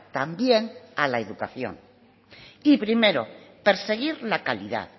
también a la educación y primero perseguir la calidad